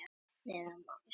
Hér að neðan má sjá tístið.